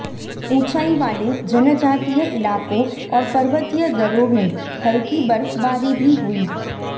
ऊंचाई वाले जनजातीय इलाकों और पर्वतीय दर्रों में हल्की बर्फबारी भी हुई